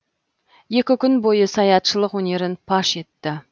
екі күн бойы саятшылық өнерін паш етті